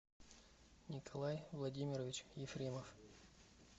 николай владимирович ефремов